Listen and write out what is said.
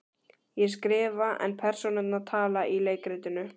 Ég skrifa en persónurnar tala í leikritinu.